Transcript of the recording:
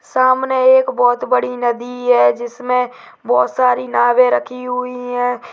सामने एक बहोत बड़ी नदी है जिसमें बहोत सारी नावें रखी हुई हैं।